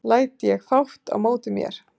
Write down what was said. læt ég fátt á móti mér